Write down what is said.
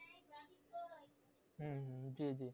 হম হম জি জি